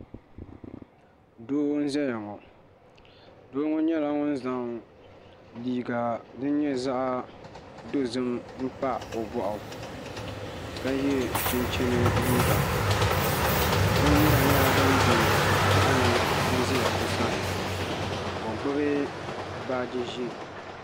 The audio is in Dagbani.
Doo n zaya ŋɔ doo ŋɔ yɛla ŋun zaŋ liiga dini yɛ zaɣi dozim n pa o bɔɣu ka yiɛ chinchini liiga bini yura yɛla dini bɛ piɛɣu ni n za o sani ka o gbubi baaji zɛɛ.